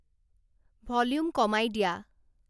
volume কমাই দিয়া